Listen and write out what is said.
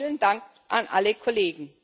Daher vielen Dank an alle Kollegen.